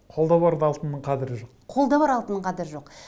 қолда барда алтынның қадірі жоқ қолда бар алтынның қадірі жоқ